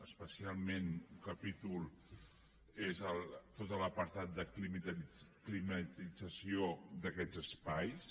especialment un capítol és tot l’apartat de climatització d’aquests espais